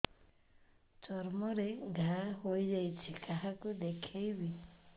ଚର୍ମ ରେ ଘା ହୋଇଯାଇଛି କାହାକୁ ଦେଖେଇବି